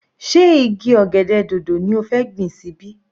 Sé igi ọ̀gẹ̀dẹ̀ dòdò ni ó fẹ́ gbìn sí ibí?